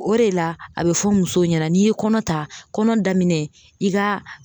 O de la a bɛ fɔ musow ɲɛna n'i ye kɔnɔ ta kɔnɔ daminɛ i ka